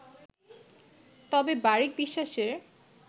তবে বারিক বিশ্বাসের